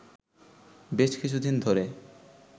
বেশ কিছুদিন ধরে